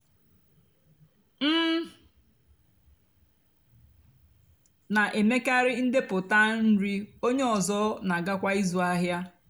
m nà-èmekarị ndepụta nri ónyé ọzọ nà-àgàkwá ịzụ áhịa.